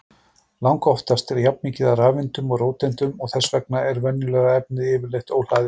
Langoftast er jafnmikið af rafeindum og róteindum og þess vegna er venjulegt efni yfirleitt óhlaðið.